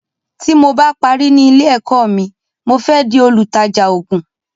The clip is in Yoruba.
Tí mo bá parí ní ilé èkó mi, mo fẹ di olùtajà ògún